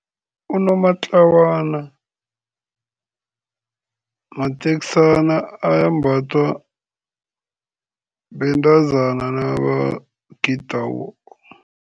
Unomatlawana mateksana ambathwa bentazana nabagidako.